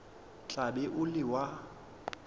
tla be o le wa